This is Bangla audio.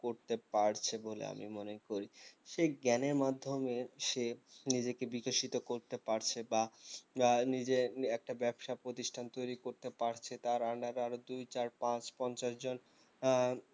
করতে পারছে বলে আমি মনে করি সেই জ্ঞান এর মাধ্যমে সে নিজেকে বিকশিত করতে পারছে বা বা নিজের একটা ব্যবসা প্রতিষ্ঠান তৈরী করতে পারছে তার under এ আরও দুই চার পাঁচ পঞ্চাশ জন আহ